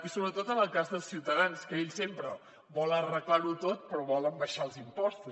i sobretot en el cas de ciutadans que ells sempre volen arreglar ho tot però volen abaixar els impostos